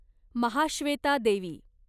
Mahasweta Devi